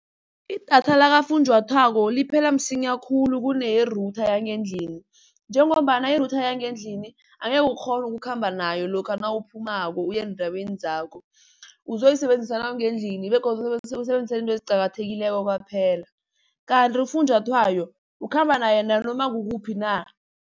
Idatha lakafunjathwako liphela msinya khulu kuneye-router yangendlini. Njengombana i-router yangendlini angekhe ukghone ukukhamba nayo lokha nawuphumako uyendaweni zakho. Uzoyisebenzisa nawungendlini begodu uzoyisebenzisele izinto eziqakathekileko kwaphela, kanti ufunjathwayo ukhamba naye nanoma kukuphi na.